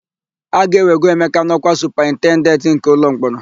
A ga-ewego Emeka n'ọ́kwa Supaintendenti nke ụlọmkpọrọ.